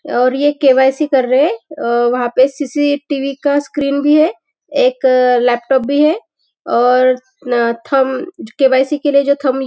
और ये के.वाई.सी. कर रहे हैं अ वहाँ पे सी.सी.टी.वी. का स्क्रीन भी है एक लैपटॉप भी है और न आ थंब के.वाई.सी. के लिए जो थंब --